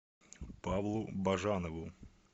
павлу бажанову